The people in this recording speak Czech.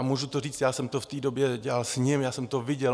A můžu to říct, já jsem to v té době dělal s ním, já jsem to viděl.